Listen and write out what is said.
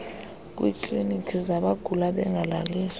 kwiikliiniki zabagula bengalaliswa